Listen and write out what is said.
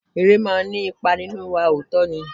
Eré máa ní ipa nínú wa, òótọ́ ni.